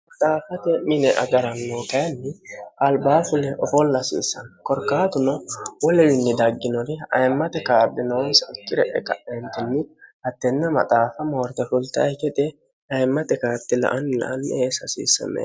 xaaffate mine agarannoutayinni albaafile ofooll hasiissanni korkaatuno woliwinni dagginori ayimmate kaardinoonsa ikkire e ka'eentinni hattenna maxaaffa moorte fultaye gede ayimmate kaarti la anni la anni eesi hasiissame